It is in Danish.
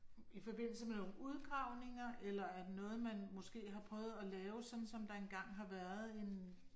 I forbindelse med nogle udgravninger eller er det noget man måske har prøvet at lave sådan som der var engang har været en